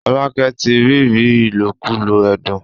Folake tí ríri ilokulo ẹdun.